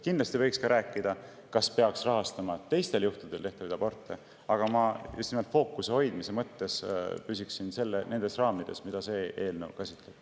Kindlasti võiks ka rääkida sellest, kas peaks rahastama teistel puhkudel tehtavaid aborte, aga ma fookuse hoidmise mõttes püsiksin täna nendes raamides, mida see eelnõu käsitleb.